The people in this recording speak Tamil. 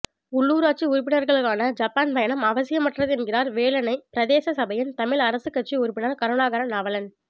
உள்ளுராட்சி உறுப்பினர்களுக்கான ஜப்பான் பயணம் அவசியமற்றது என்கிறார் வேலணை பிரதேச சபையின் தமிழ் அரசுக் கட்சி உறுப்பினர் கருணாகரன் நாவலன்